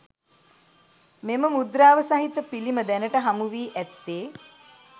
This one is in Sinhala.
මෙම මුද්‍රාව සහිත පිළිම දැනට හමු වී ඇත්තේ